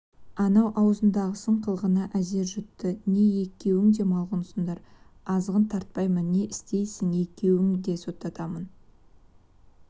анау аузындағысын қылғына әзер жұтты не екеуңң де малғұнсыңдар азғын тартпаймын не істейсің екеуіңді де соттатамын